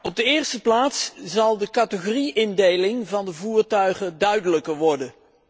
In de eerste plaats zal de categorie indeling van de voertuigen duidelijker worden.